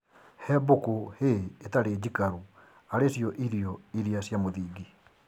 He mbũkũ hay ĩtarĩ njikarũ arĩ cio irio iria cia mũthingi